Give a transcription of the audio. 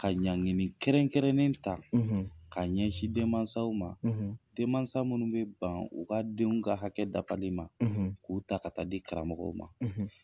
Ka ɲangini kɛrɛnkɛrɛnnen ta ka ɲɛsin denmansaw ma denmansa minnu bɛ ban u ka denw ka hakɛ dafali ma k'u ta ka taa di karamɔgɔ ma.